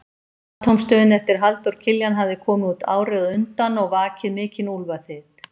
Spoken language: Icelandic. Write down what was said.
Atómstöðin eftir Halldór Kiljan hafði komið út árið á undan og vakið mikinn úlfaþyt.